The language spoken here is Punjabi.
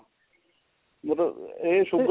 ਮਤਲਬ ਇਹ sugar